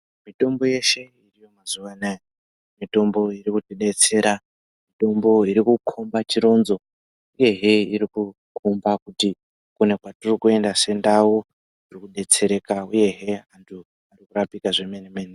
Mitombo yeshe mazuvano mitombo iri kutidetsere mitombo iri kukomba chironzo uyehe iri kukomba kuti kune kwatiri kuenda sendau tiri kudetsereka uyehe takuita zvemene mene